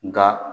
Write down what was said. Nka